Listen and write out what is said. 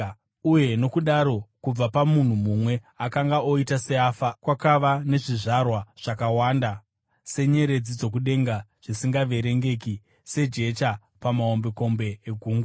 Uye nokudaro kubva pamunhu mumwe, akanga oita seafa, kwakava nezvizvarwa zvakawanda senyeredzi dzokudenga, zvisingaverengeki sejecha pamahombekombe egungwa.